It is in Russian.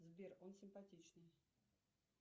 сбер он симпатичный